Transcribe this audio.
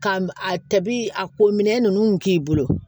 Ka a tabi a ko minɛ ninnu k'i bolo